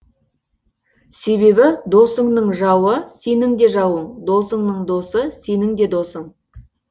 себебі досынның жауы сенің де жауын досынның досы сенің де досын